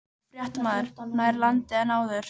Fréttamaður: Nær landi en áður?